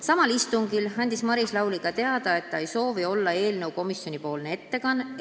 Samal istungil andis Maris Lauri teada, et ta ei soovi olla eelnõu komisjonipoolne ettekandja.